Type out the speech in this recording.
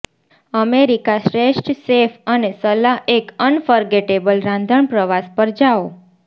America શ્રેષ્ઠ chef અને સલાહ એક અનફર્ગેટેબલ રાંધણ પ્રવાસ પર જાઓ